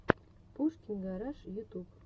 пушкин гараж ютюб